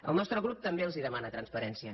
el nostre grup també els demana transparència